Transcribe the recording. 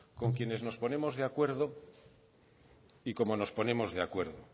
con quienes nos ponemos de acuerdo y como nos ponemos de acuerdo